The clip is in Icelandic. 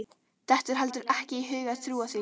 Dettur heldur ekki í hug að trúa því.